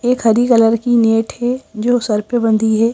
एक हरी कलर की नेट है जो सर पे बंदी है।